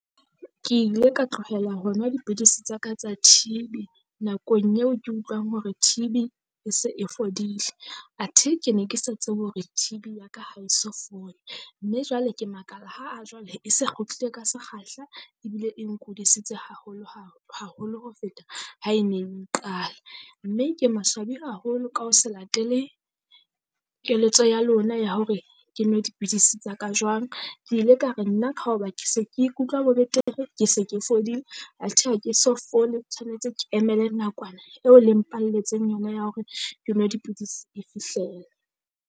Ke ile ka tlohela ho nwa dipidisi tsa ka tsa T_B nakong eo ke utlwang hore T_B e se e fodile. Athe ke ne ke sa tsebe hore T_B ya ka ha e so fole, mme jwale ke makala ha a jwale e se kgutlile ka sekgahla ebile e nkudisitse haholo haholo ho feta ha e neng eng qala. Mme ke maswabi haholo ka ho se latele keletso ya lona ya hore ke nwe dipidisi tsa ka jwang. Ke ile ka re nna ka hoba ke se ke ikutlwa betere, ke se ke fodile athe ha ke so fole tshwanetse ke emele nakwana eo le mpalletseng yona ya hore ke nwe dipidisi e fihlela.